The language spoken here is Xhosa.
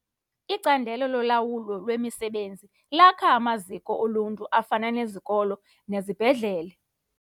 Icandelo lolawulo lwemisebenzi lakha amaziko oluntu afana nezikolo nezibhedlele.